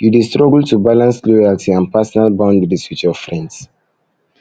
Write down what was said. you dey struggle to balance loyalty and personal boundaries with your friends